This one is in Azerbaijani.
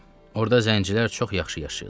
Orda zəncilər çox yaxşı yaşayırlar.